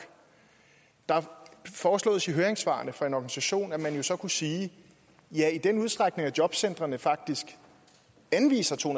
der foreslås i høringssvarene fra en organisation at man jo så kunne sige at ja i den udstrækning jobcentrene faktisk anviser to